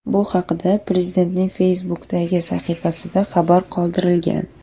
Bu haqda Prezidentning Facebook’dagi sahifasida xabar qoldirilgan .